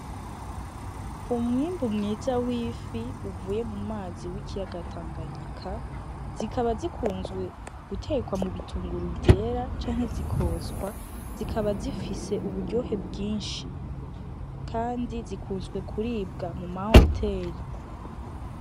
Umwimbu mwiza w'ifi uvuye mu mazi w'ikiyaga tanganyika, zikaba zikunzwe gutekwa mubitunguru vyera canke zikotswa ,zikaba zifise uburyohe bwinshi; Kandi zikunzwe kiribwa mu mahoteri.